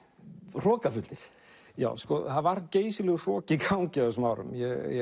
hrokafullir já það var geysilegur hroki í gangi á þessum árum